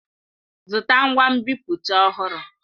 Zụta ngwa nbipute ọhụrụ!